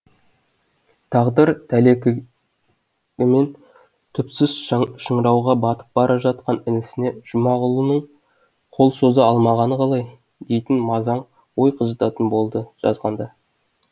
тағдыр тәлекігімен түпсіз шыңырауға батып бара жатқан інісіне жұмағұлының қол соза алмағаны қалай дейтін мазаң ой қыжытатын болды жазғанды